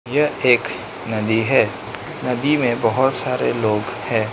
यह एक नदी है नदी में बहोत सारे लोग है।